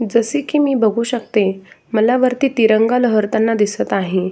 जसे की मी बघू शकते मला वरती तिरंगा लहरताना दिसत आहे.